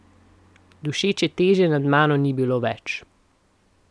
Dušeče teže nad mano ni bilo več.